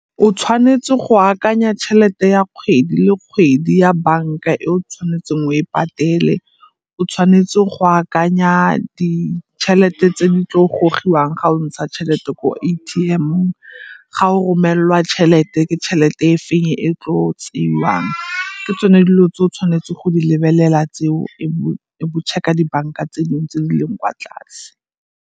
O tshwanetse go akanya tšhelete ya kgwedi le kgwedi ya banka e o tshwanetseng o e patele, o tshwanetse go akanya ditšhelete tse di tlo gogiwang ga o ntsha tšhelete ko A_T_M-ong. Ga o romelelwa tšhelete, ke tšhelete e feng e e tlo tseiwang. Ke tsone dilo tse o tshwanetse go di lebelela tseo e bo bo check-a dibanka tse dingwe tse di leng kwa tlase.